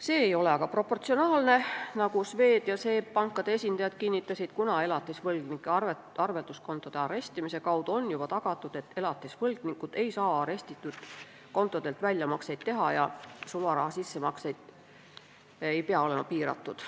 See ei ole aga proportsionaalne, nagu Swedbanki ja SEB Panga esindajad kinnitasid, kuna elatisvõlgnike arvelduskontode arestimise kaudu on juba tagatud, et elatisvõlgnikud ei saa arestitud kontodelt väljamakseid teha, ja sularaha sissemaksed ei pea olema piiratud.